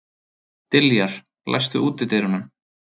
Diljar, læstu útidyrunum.